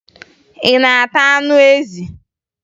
Ị na-ata anụ ezi?